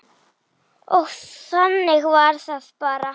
Og þannig var það bara.